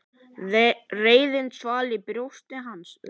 Reiðin svall í brjósti hans.